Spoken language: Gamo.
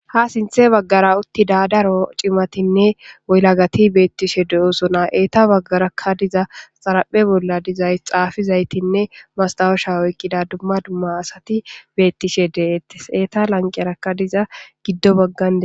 Ha sinthe baggara uttida daro cimatinne yelagati beettishe de'osona. Eeta baggarakka diza xaraphe bolla dizay xaafizaytinne mastawusha oykkida dumma dumma asati beettishe deettes. Eeta lanqerakka diza giddo baggan de'etees.